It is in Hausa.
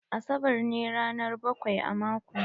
Asabar ne ranar bakwai a mako.